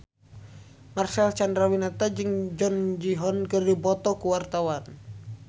Marcel Chandrawinata jeung Jung Ji Hoon keur dipoto ku wartawan